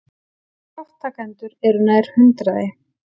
Þátttakendur eru nær hundraði